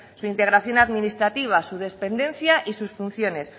su integración administrativa su dependencia y sus funciones